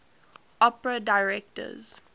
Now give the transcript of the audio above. opera directors